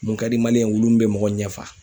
Mun ka di maliyɛn ye wulu min be mɔgɔ ɲɛ fa